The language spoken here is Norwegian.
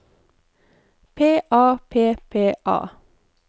P A P P A